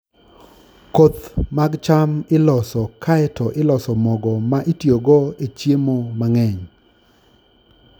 Koth mag cham iloso kae to iloso mogo ma itiyogo e chiemo mang'eny.